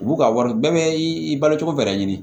U b'u ka wari bɛɛ bɛ i balo cogo bɛɛ la